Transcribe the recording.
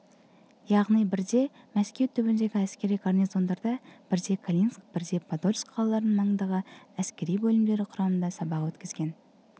яғни бірде мәскеу түбіндегі әскери горнизондарда бірде калининск бірде подольск қалаларының маңындағы әскери бөлімдері құрамында сабақ өткізген